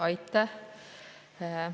Aitäh!